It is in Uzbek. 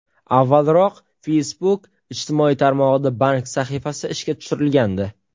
Avvalroq, Facebook ijtimoiy tarmog‘ida bank sahifasi ishga tushirilgandi.